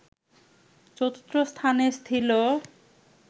চতুর্থ স্থানে ছিল”